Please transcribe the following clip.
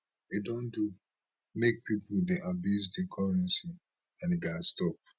e don do make pipo dey abuse di currencies and e gatz stop